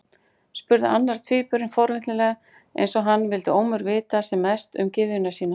spurði annar tvíburinn forvitnislega, eins og hann vildi ólmur vita sem mest um gyðjuna sína.